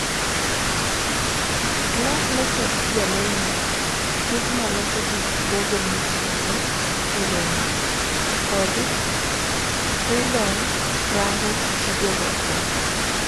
Slack noket jalendo, Figma loso gik Google mitiyogo eromo, kod Trellone rango tijego tee.